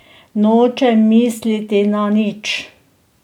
Nočem misliti na nič.